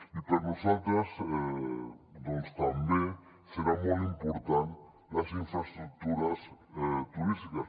i per a nosaltres també seran molt important les infraestructures turístiques